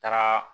Taara